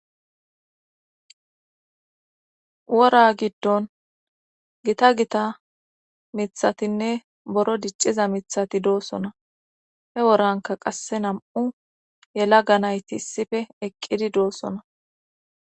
Wora giddon gita gita mithatinne boro dicciza mithati doosona he woranka qasse nam7u yelaga nayti issioe eqqidi doossona.